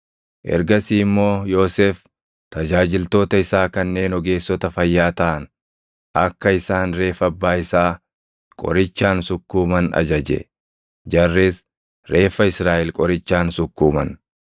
Ergasii immoo Yoosef tajaajiltoota isaa kanneen ogeessota fayyaa taʼan akka isaan reeffa abbaa isaa qorichaan sukkuuman ajaje; jarris reeffa Israaʼel qorichaan sukkuuman;